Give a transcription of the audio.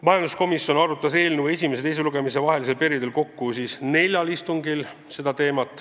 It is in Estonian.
Majanduskomisjon arutas eelnõu esimese ja teise lugemise vahelisel perioodil kokku neljal istungil.